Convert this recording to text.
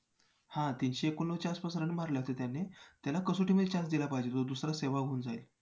मलाही माहिती खरं तर online मिळालेली. मी घरी बसून ह्याचं काम चालू केलेलं